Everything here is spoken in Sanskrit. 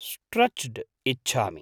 स्ट्रेच्ड् इच्छामि।